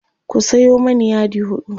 ku Sayo mani yadi huɗu